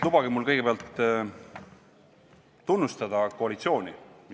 Lubage mul kõigepealt tunnustada koalitsiooni.